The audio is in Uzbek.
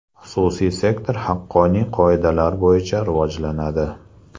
Xususiy sektor haqqoniy qoidalar bo‘yicha rivojlanadi.